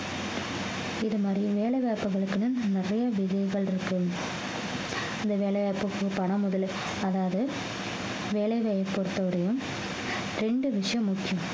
இது மாதிரி வேலை வாய்ப்புகளுக்குன்னு நிறைய விதைகள் இருக்கு இந்த வேலையை இருக்கப்போ பணம் முதலுக்கு அதாவது வேலைவாய்ப்பு பொறுத்த வரையும் ரெண்டு விஷயம் முக்கியம்